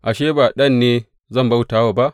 Ashe, ba ɗan ne zan bauta wa ba?